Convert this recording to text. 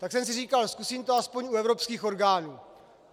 Tak jsem si říkal: Zkusím to aspoň u evropských orgánů.